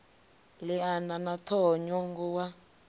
liana na ṱhoho ṅwongo wa